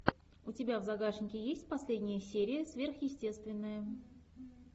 у тебя в загашнике есть последняя серия сверхъестественное